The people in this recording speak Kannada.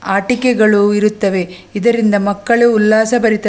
ಆಟಿಕೆಗಳು ಇರುತ್ತವೆ ಇದರಿಂದ ಮಕ್ಕಳು ಉಲ್ಲಾಸಭರಿತ --